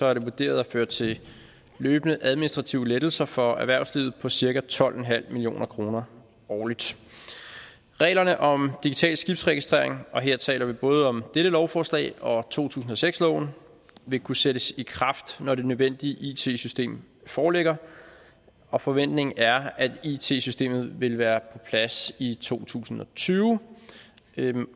er det vurderet at føre til løbende administrative lettelser for erhvervslivet på cirka tolv million kroner årligt reglerne om digital skibsregistrering og her taler vi både om dette lovforslag og to tusind og seks loven vil kunne sættes i kraft når det nødvendige it system foreligger og forventningen er at it systemet vil være plads i to tusind og tyve